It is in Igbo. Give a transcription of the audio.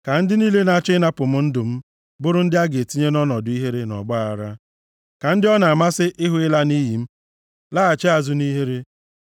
Ka ndị niile na-achọ ịnapụ m ndụ m, bụrụ ndị a ga-etinye nʼọnọdụ ihere na ọgbaaghara. Ka ndị ọ na-amasị ịhụ ịla nʼiyi m laghachi azụ nʼihere.